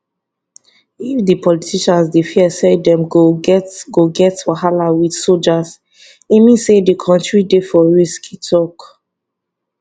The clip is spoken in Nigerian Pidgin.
if di politicians dey fear say dem go get go get wahala wit soldiers e mean say di kontiri dey for risk e tok